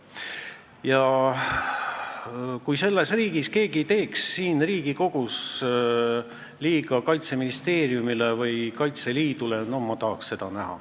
Ja ma tahaks näha seda, kui selles riigis, siin Riigikogus teeks keegi Kaitseministeeriumile või Kaitseliidule liiga.